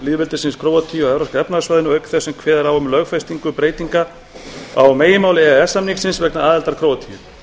lýðveldisins króatíu á evrópska efnahagssvæðinu auk þess sem kveðið er á um lögfestingu breytinga á meginmáli e e s samningsins vegna aðildar króatíu